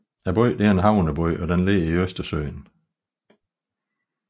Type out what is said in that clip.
Byen er en havneby og ligger ud til Østersøen